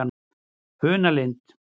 Funalind